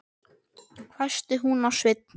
hvæsti hún á Svein